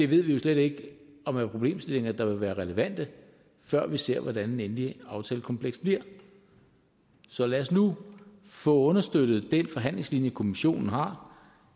vi jo slet ikke om er problemstillinger der vil være relevante før vi ser hvordan det endelige aftalekompleks bliver så lad os nu få understøttet den forhandlingslinje kommissionen har og